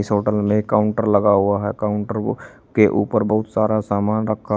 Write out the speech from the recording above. इस होटल में एक काउंटर लगा हुआ है काउंटर को के ऊपर बहुत सारा सामान रखा--